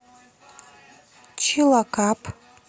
чилакап